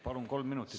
Palun!